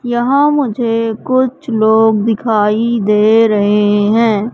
यहां मुझे कुछ लोग दिखाई दे रहे हैं।